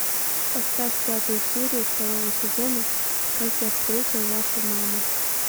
поставь пятую серию второго сезона как я встретил вашу маму